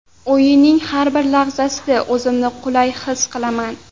O‘yinning har bir lahzasida o‘zimni qulay his qilaman.